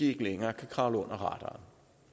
ikke længere kan kravle under radaren